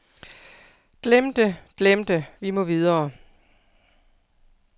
Glem det, glem det, vi må videre.